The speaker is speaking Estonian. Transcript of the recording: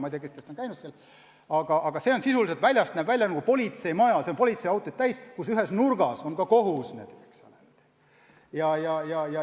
Ma ei tea, kas keegi teist on seal käinud, aga see on sisuliselt selline, et väljast näeb välja nagu politseimaja – selle esine on politseiautosid täis –, ja ühes hoonenurgas on siis kohus.